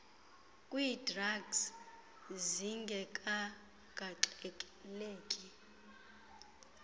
kwii drugs zingekagaxeleki